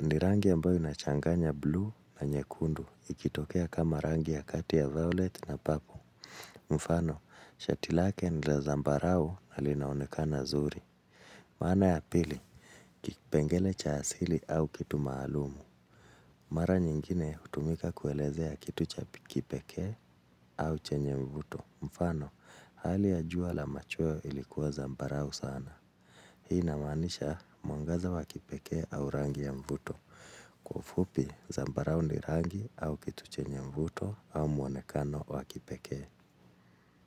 Ni rangi ambayo inachanganya blue na nyekundu ikitokea kama rangi ya kati ya violet na papo. Mfano, shati lake ni la zambarau na linaonekana zuri. Maana ya pili, kipengele cha asili au kitu maalumu. Mara nyingine hutumika kuelezea kitu cha kipekee au chenye mvuto. Mfano, hali ya jua la machweo ilikuwa zambarau sana. Hii inamaanisha mwangaza wa kipekee au rangi ya mvuto. Fupi, zambarau ni rangi au kitu chenye mvuto au mwonekano wa kipekee.